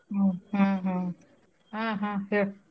ಹ್ಮ್ ಹಾ ಹಾ ಹಾ ಹಾ ಹೇಳ್.